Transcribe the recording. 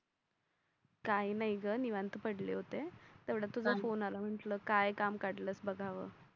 काय नाय ग निवांत पडले होते. तेवड्यात तुझा फोन आला मग काय काम काढलस बघाव.